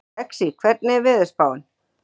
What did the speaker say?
Lexí, hvernig er veðurspáin?